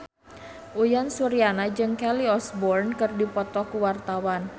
Uyan Suryana jeung Kelly Osbourne keur dipoto ku wartawan